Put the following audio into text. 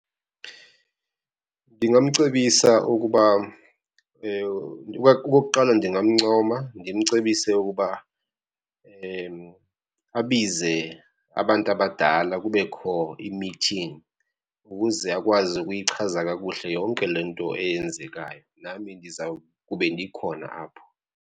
Ndingamcebisa ukuba okokuqala, ndingamncoma ndimcebise ukuba abize abantu abadala kubekho imithingi ukuze akwazi ukuyichaza kakuhle yonke le nto eyenzekayo. Nami ndizawukube ndikhona apho.